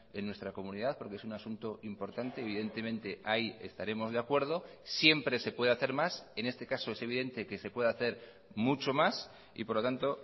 en nuestra comunidad porque es un asunto importante evidentemente ahí estaremos de acuerdo siempre se puede hacer más en este caso es evidente que se puede hacer mucho más y por lo tanto